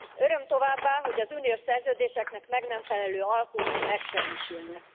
Öröm továbbá, hogy az uniós szerződéseknek meg nem felelő alkuk megsemmisülnek.